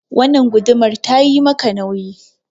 Wannan gudumar ta yi maka nauyi.